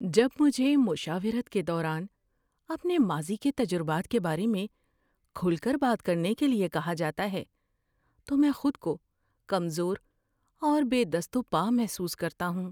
جب مجھے مشاورت کے دوران اپنے ماضی کے تجربات کے بارے میں کھل کر بات کرنے کے لیے کہا جاتا ہے تو میں خود کو کمزور اور بے دست و پا محسوس کرتا ہوں۔